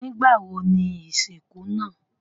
Nígbàwo ni isinku naa?